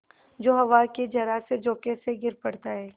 जो हवा के जरासे झोंके से गिर पड़ता है